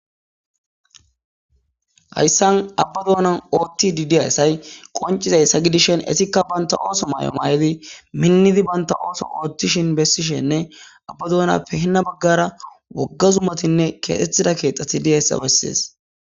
hayssan abba doonan ooththidi de7iya assay qonciza yssa gidishen esikka banta ooso may7o maay7idi minnidi banta ooso oothtishin bessishenne abba doona pehinna baggara wogga zumatinne keexxettida keexxati diyayssa bessees